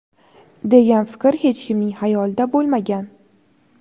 degan fikr hech kimning xayolida bo‘lmagan.